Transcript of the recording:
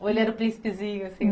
Ou ele era o príncipezinho?